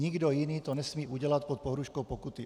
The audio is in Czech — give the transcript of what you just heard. Nikdo jiný to nesmí udělat pod pohrůžkou pokuty.